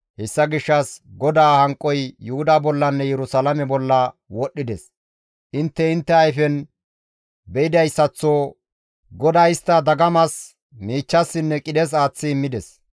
Hessa gishshas GODAA hanqoy Yuhuda bollanne Yerusalaame bolla wodhdhides; intte intte ayfen be7idayssaththo GODAY istta dagamas, miichchassinne qidhes aaththi immides.